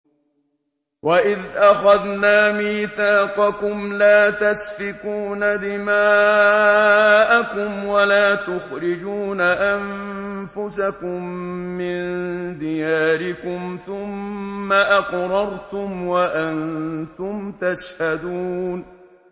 وَإِذْ أَخَذْنَا مِيثَاقَكُمْ لَا تَسْفِكُونَ دِمَاءَكُمْ وَلَا تُخْرِجُونَ أَنفُسَكُم مِّن دِيَارِكُمْ ثُمَّ أَقْرَرْتُمْ وَأَنتُمْ تَشْهَدُونَ